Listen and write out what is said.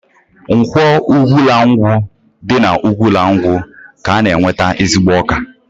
Nkwọ Ugwulangwu dị n'Ugwulangwu ka a na-enweta ezigbo ọka